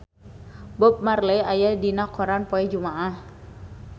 Bob Marley aya dina koran poe Jumaah